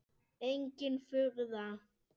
Engin furða.